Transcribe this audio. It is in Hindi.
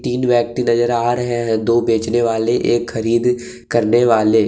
तीन व्यक्ति नजर आ रहे हैं दो बेचने वालेएक खरीद करने वाले।